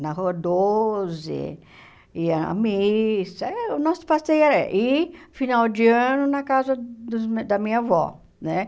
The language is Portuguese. na Rua Doze, ia à missa, eh o nosso passeio era ir, final de ano, na casa dos meu da minha avó, né?